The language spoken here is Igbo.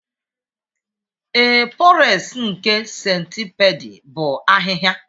Ee, pores nke centipede bụ ahịhịa